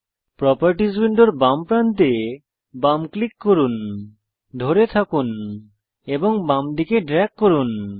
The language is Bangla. প্রোপার্টিস উইন্ডোর বাম প্রান্তে বাম ক্লিক করুন ধরে থাকুন এবং বামদিকে ড্রেগ করুন